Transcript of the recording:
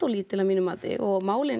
lítil að mínu mati og málin